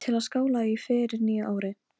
Sneri sér að mér og brosti, ögn rólegri.